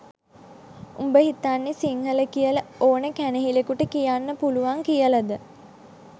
උඹ හිතන්නෙ සිංහල කියල ඕන කැනහිලෙකුට කියන්න පුළුවන් කියලද?